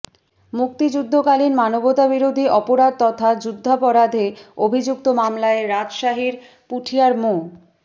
মুক্তিযুদ্ধকালীন মানবতাবিরোধী অপরাধ তথা যুদ্ধাপরাধে অভিযুক্ত মামলায় রাজশাহীর পুঠিয়ার মো